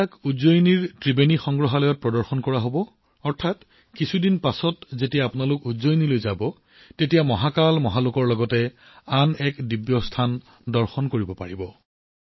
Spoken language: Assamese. এইবোৰ উজ্জয়িনীৰ ত্ৰিবেণী সংগ্ৰহালয়ত প্ৰদৰ্শিত হব অৰ্থাৎ কিছুদিন পাছত উজ্জয়িনীলৈ গলে মহাকাল মহালোকৰ লগতে আন এখন ঐশ্বৰিক স্থান পৰিদৰ্শন কৰিব পাৰিব